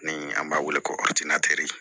Ni an b'a wele ko